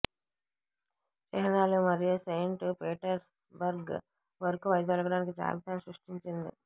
చిహ్నాలు మరియు Saint Petersburg వరకు వైదొలగడానికి జాబితాను సృష్టించండి